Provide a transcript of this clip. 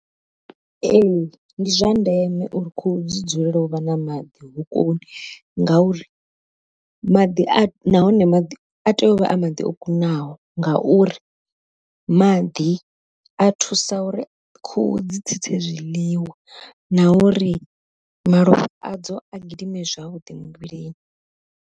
Ee ndi zwa ndeme uri khuhu dzi dzulele u vha na maḓi hokoni, ngauri maḓi a nahone maḓi a tea u vha a maḓi o kunaho ngauri maḓi a thusa uri khuhu dzi tsitse zwiḽiwa na uri malofha adzo a gidime zwavhuḓi muvhilini.